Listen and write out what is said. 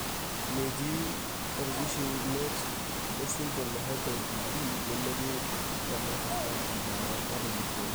Metii orkishiunet lesindirom eHyper IgD nemetii tenakata embaare natujuruoki.